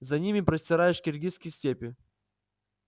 за ними простирались киргизские степи